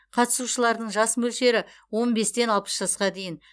қатысушылардың жас мөлшері он бестен алпыс жасқа дейін